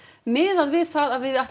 miðað við það að við